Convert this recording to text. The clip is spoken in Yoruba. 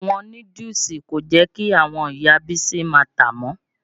Ọ̀wọ́n núdúùsù kò jẹ́ kí àwọn Ìya Bísí ma tàá mọ́.